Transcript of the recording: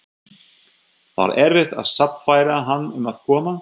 Var erfitt að sannfæra hann um að koma?